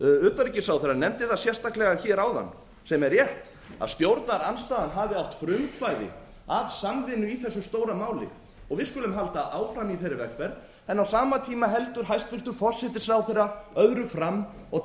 utanríkisráðherra nefndi það sérstaklega hér áðan sem er rétt að stjórnarandstaðan hafi átt frumkvæði að samvinnu íslands í þessu stóra máli við skulum halda áfram í þeirri vegferð en á sama tíma heldur hæstvirtur forsætisráðherra öðru fram og